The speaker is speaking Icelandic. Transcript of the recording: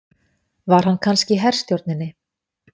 Var hann kannski í herstjórninni?